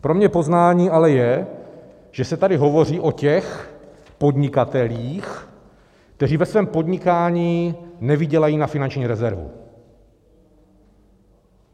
Pro mě poznání ale je, že se tady hovoří o těch podnikatelích, kteří ve svém podnikání nevydělají na finanční rezervu.